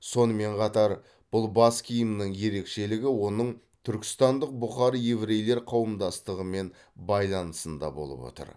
сонымен қатар бұл бас киімнің ерекшелігі оның түркістандық бұхар еврейлер қауымдастығымен байланысында болып отыр